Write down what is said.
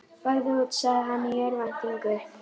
Farðu út, sagði hann í örvæntingu.